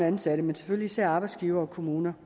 ansatte men selvfølgelig især arbejdsgivere og kommuner